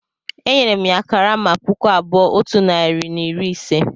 Enyere m ya karama puku abụọ otu narị na iri ise